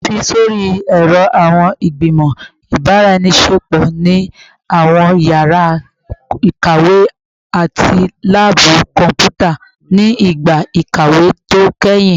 Fi sori ẹrọ awọn igbimọ ibaraenisepo ni awọn yara ikawe ati laabu kọnputa ni igba ikawe to kẹhin